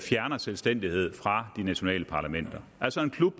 fjerner selvstændighed fra de nationale parlamenter altså en klub